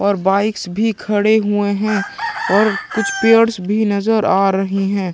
और बाइक्स भी खड़े हुए है और कुछ पेड्स भी नज़र आ रहे है ।